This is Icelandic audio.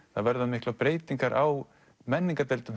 verða miklar breytingar á